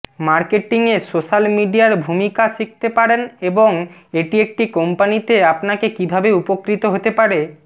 মার্কেটিংয়ে social মিডিয়ার ভূমিকা শিখতে পারেন এবং এটি একটি কোম্পানিতে আপনাকে কীভাবে উপকৃত হতে পারে